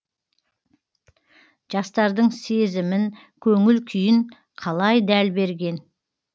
жастардың сезімін көңіл күйін қалай дәл берген